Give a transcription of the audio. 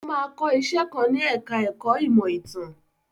Ó máa kọ́ iṣẹ́ kan ní ẹ̀ka ẹ̀kó ìmọ̀ ìtàn.